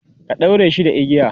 ka ɗaure shi da igiya?